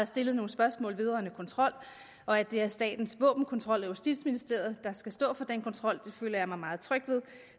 stillet nogle spørgsmål vedrørende kontrol og at det er statens våbenkontrol og justitsministeriet der skal stå for den kontrol det føler jeg mig meget tryg ved